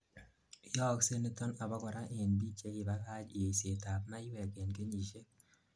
yooksei niton abakora end biik chekibakach yeiset ab maywek en kenyisiek